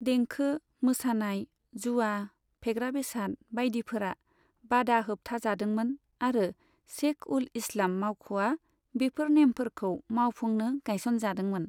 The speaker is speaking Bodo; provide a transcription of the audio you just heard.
देंखो, मोसानाय, जुआ, फेग्रा बेसाद बायदिफोरा बादा होबथाजादोंमोन आरो शेख उल इस्लाम मावख'आ बेफोर नेमफोरखौ मावफुंनो गायसनजादोंमोन।